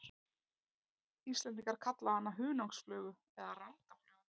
Íslendingar kalla hana hunangsflugu eða randaflugu.